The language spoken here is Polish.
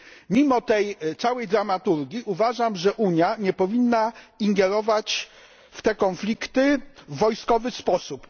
Mimo tej całej dramaturgii uważam, że Unia nie powinna ingerować w te konflikty w wojskowy sposób.